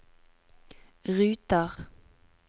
ruter